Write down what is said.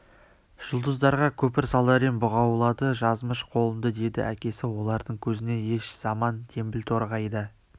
жұлдыздарға көпір салар ем бұғаулады жазмыш қолымды деді әкесі олардың көзіне еш заман теңбіл торғай да